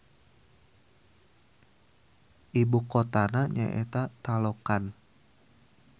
Ibu kotana nyaeta Taloqan.